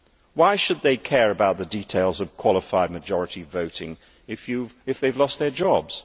Why should they care about the details of qualified majority voting if they have lost their jobs?